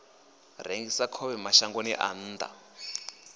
rengisa khovhe mashangoni a nnḓa